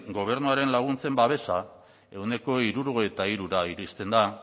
gobernuaren laguntzen babesa ehuneko hirurogeira iristen da